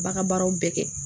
Ba ka baaraw bɛɛ kɛ